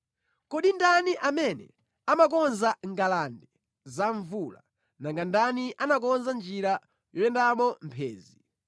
Kodi ndani amene amakonza ngalande za mvula, nanga ndani anakonza njira yoyendamo mphenzi,